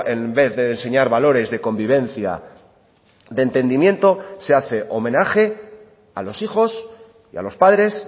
en vez de enseñar valores de convivencia de entendimiento se hace homenaje a los hijos y a los padres